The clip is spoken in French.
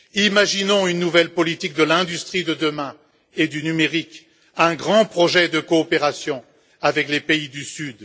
Imaginons une nouvelle politique de l'industrie de demain et du numérique, un grand projet de coopération avec les pays du Sud.